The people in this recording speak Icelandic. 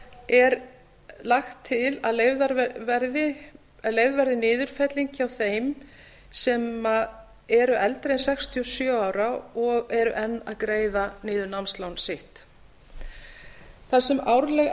er lagt til að leyfð verði niðurfelling hjá þeim sem eru eldri en sextíu og sjö ára og er enn að greiða námslán sitt þar sem árleg